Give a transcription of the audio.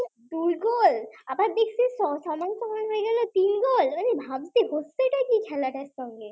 দুই গোল আবার আবার সময় সময় তিন গোল হচ্ছেটা কি খেলাটার সঙ্গে